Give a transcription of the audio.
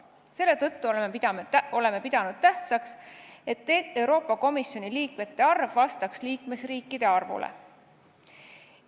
Selle tõttu oleme pidanud tähtsaks, et Euroopa Liidu Komisjoni liikmete arv vastaks liikmesriikide arvule.